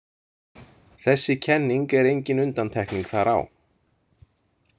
Þessi kenning er engin undantekning þar á.